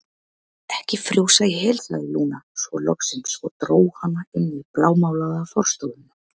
Ekki frjósa í hel, sagði Lúna svo loksins og dró hana inn í blámálaða forstofuna.